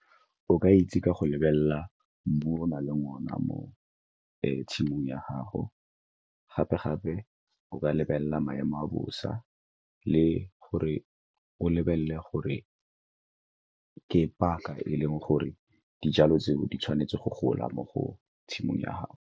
O ka itse ka go lebelela mmu o nang le one mo tshimong ya gago, gape-gape o ka lebelela maemo a bosa le gore o lebelele gore ke paka e leng gore dijalo tseo di tshwanetse go gola mo go tshimong ya gago.